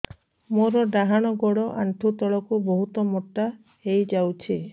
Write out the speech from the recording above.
ମୋର ଡାହାଣ ଗୋଡ଼ ଆଣ୍ଠୁ ତଳକୁ ବହୁତ ମୋଟା ହେଇଯାଉଛି